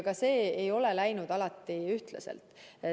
Ka see ei ole alati läinud ühtlaselt.